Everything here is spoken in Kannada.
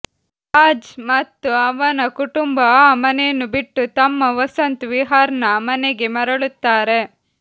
ರಾಜ್ ಮತ್ತು ಅವನ ಕುಟುಂಬ ಆ ಮನೆಯನ್ನು ಬಿಟ್ಟು ತಮ್ಮ ವಸಂತ್ ವಿಹಾರ್ನ ಮನೆಗೆ ಮರಳುತ್ತಾರೆ